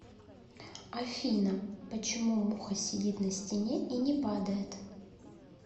афина почему муха сидит на стене и не падает